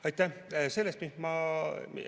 Aitäh!